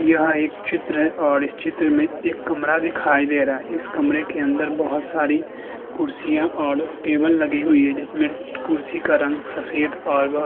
यहाँ एक चित्र है और इस चित्र में एक कमरा दिखाई दे रहा है इस कमरे के अंदर बहुत सारी कुर्सियां और टेबल लगी हुई है जिसमें कुर्सी का रंग सफेद और --